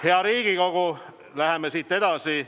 Hea Riigikogu, läheme edasi.